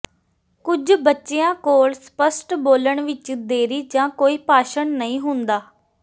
ਕੁਝ ਬੱਚਿਆਂ ਕੋਲ ਸਪੱਸ਼ਟ ਬੋਲਣ ਵਿੱਚ ਦੇਰੀ ਜਾਂ ਕੋਈ ਭਾਸ਼ਣ ਨਹੀਂ ਹੁੰਦਾ